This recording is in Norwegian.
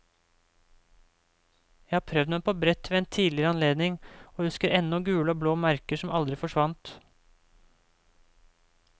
Jeg har prøvd meg på brett ved en tidligere anledning, og husker ennå gule og blå merker som aldri forsvant.